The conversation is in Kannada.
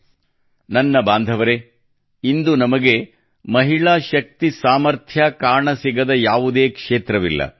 ನನ್ನ ಕುಟುಂಬದ ಬಾಂಧವರೇ ಇಂದು ನಮಗೆ ಮಹಿಳಾ ಶಕ್ತಿ ಸಾಮರ್ಥ್ಯ ಕಾಣಸಿಗದ ಯಾವುದೇ ಕ್ಷೇತ್ರವಿಲ್ಲ